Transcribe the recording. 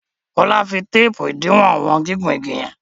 Kola fí fí teepu idiwọn wọn gigun ìgi yen.